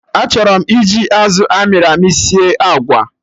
Achọrọ m iji azụ amịrị amị sie agwa